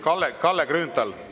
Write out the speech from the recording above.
Kalle Grünthal!